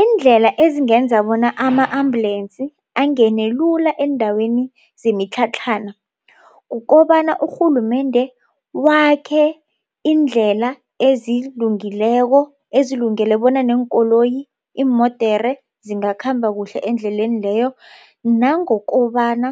Iindlela ezingenza bona ama-ambulance angene lula eendaweni zemitlhatlhana. Kukobana urhulumende wakhe iindlela ezilungileko, ezilungele bona neenkoloyi, iimodere zingakhamba kuhle endleleni leyo. Nangokobana